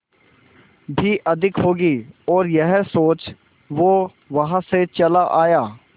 भी अधिक होगी और यह सोच वो वहां से चला आया